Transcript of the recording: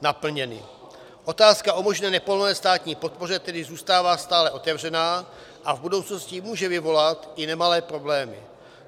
Otázka o možné nepovolené státní podpoře tedy zůstává stále otevřená a v budoucnosti může vyvolat i nemalé problémy.